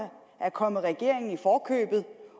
er kommet regeringen i forkøbet